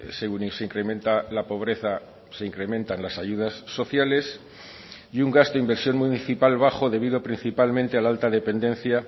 según se incrementa la pobreza se incrementan las ayudas sociales y un gasto inversión municipal bajo debido principalmente a la alta dependencia